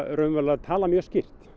talað mjög skýrt